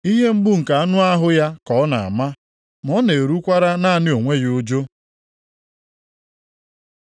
Ihe mgbu nke anụ ahụ ya ka ọ na-ama ma na-erukwara naanị onwe ya ụjụ.”